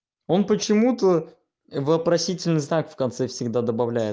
он почему-то вопросительный знак в конце всегда добавляет